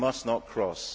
EU must not cross.